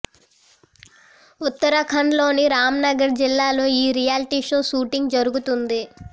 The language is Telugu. ఉత్తరాఖండ్ లోని రామ్ నగర్ జిల్లాలో ఈ రియాల్టీ షో షూటింగ్ జరుగుతుంది